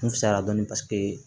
N fisayara dɔɔnin paseke